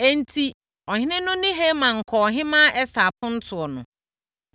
Enti, ɔhene no ne Haman kɔɔ Ɔhemmaa Ɛster apontoɔ no.